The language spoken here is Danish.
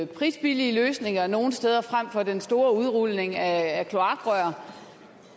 prisbillige løsninger nogle steder frem for den store udrulning af kloakrør